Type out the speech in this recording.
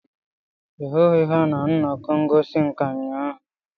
ị hụghị ha na nnọkọ ngosi nka ụnyahụ?